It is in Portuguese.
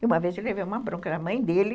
E uma vez ele teve uma bronca na mãe dele.